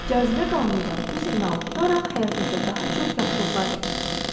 Cazibə qanunu da bu siqnalı tutaraq həyatınızda daha çox yaxşılıqlar gətirəcəkdir.